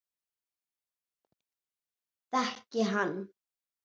Þekki hann.